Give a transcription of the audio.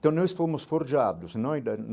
Então nós fomos forjados.